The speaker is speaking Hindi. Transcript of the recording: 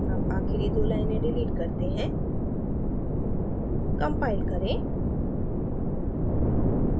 अब आखिरी दो लाइनें डिलीट करते हैं compile करें